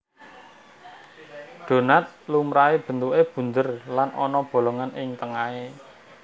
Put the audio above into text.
Donat lumrahé bentuké bunder lan ana bolongan ing tengahé